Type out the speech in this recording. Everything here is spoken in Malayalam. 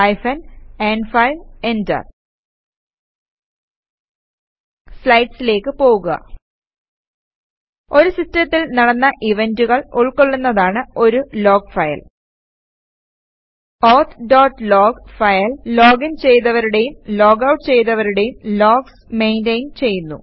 ഹൈഫൻ ന്5 എന്റർ സ്ലൈഡ്സിലേക്ക് പോകുക ഒരു സിസ്റ്റത്തിൽ നടന്ന ഇവന്റുകൾ ഉൾകൊള്ളുന്നതാണ് ഒരു log file auth dot log file login ചെയ്തവരുടേയും ലോഗ് ഔട്ട് ചെയ്തവരുടേയും ലോഗ്സ് മെയിന്റയിന് ചെയ്യുന്നു